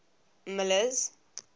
miller's